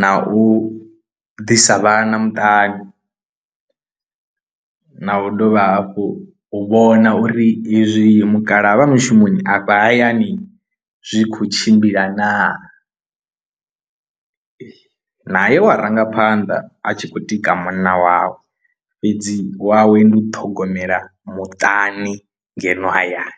na u ḓisa vhana muṱani, na u dovha hafhu u vhona uri hezwi mukalaha vha mushumoni a vha hayani zwi khou tshimbila naye u ya rangaphanḓa a tshi khou tika munna wawe fhedzi wawe ndi u ṱhogomela muṱani ngeno hayani.